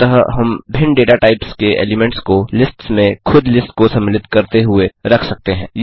अतः हम भिन्न डेटा टाइप्स के एलीमेंट्स को लिस्ट्स में खुद लिस्ट्स को सम्मिलित करते हुए रख सकते हैं